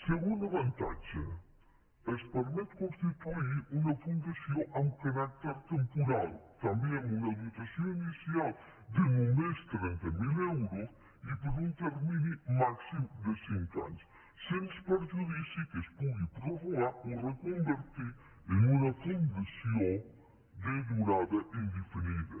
segon avantatge es permet constituir una fundació amb caràcter temporal també amb una dotació inicial de només trenta mil euros i per un termini màxim de cinc anys sens perjudici que es pugui prorrogar o re·convertir en una fundació de durada indefinida